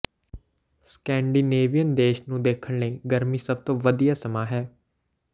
Scandinavian ਦੇਸ਼ ਨੂੰ ਦੇਖਣ ਲਈ ਗਰਮੀ ਸਭ ਤੋਂ ਵਧੀਆ ਸਮਾਂ ਹੈ